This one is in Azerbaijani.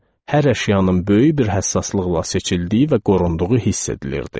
Hər əşyanın böyük bir həssaslıqla seçildiyi və qorunduğu hiss edilirdi.